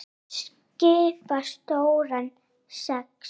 Þau skipa stóran sess.